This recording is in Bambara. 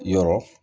Yɔrɔ